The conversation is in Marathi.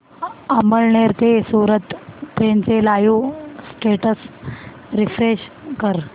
अमळनेर ते सूरत ट्रेन चे लाईव स्टेटस रीफ्रेश कर